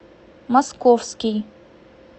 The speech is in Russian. московский